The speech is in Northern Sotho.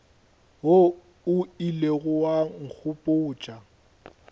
wo o ilego wa nkgopotša